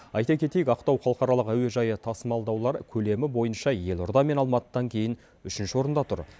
айта кетейік ақтау халықаралық әуежайы тасымалдаулар көлемі бойынша елорда мен алматыдан кейін үшінші орында тұр